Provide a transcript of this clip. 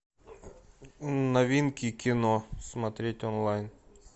новинки кино смотреть онлайн